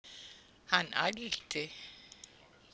Hann ældi.